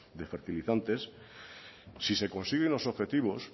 de fertilizantes si se consiguen los objetivos